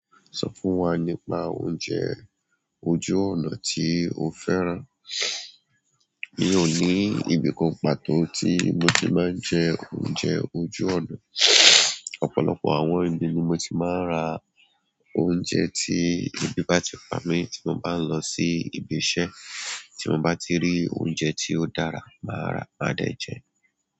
Sọ fún wa nípa oúnjẹ ojú ọ̀nà tí o fẹ́ràn. Mi ò ní ibì kan pàtó tí mo ti máa ń jẹ oúnjẹ ojú ọ̀nà, ọ̀pọ̀lọpọ̀ àwọn ibi ni mo ti máa ń ra oúnjẹ tí ebi bá ti pamí tí mo bá ń lọ sí ibi iṣẹ́, tí mo bá ti rí oúnjẹ tí ó dára, màá ra, máa dẹ̀ jẹ ẹ́.